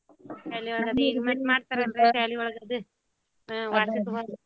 ಶಾಲಿ ಒಳಗ .